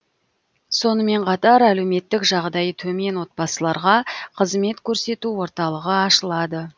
сонымен қатар әлеуметтік жағдайы төмен отбасыларға қызмет көрсету орталығы ашылады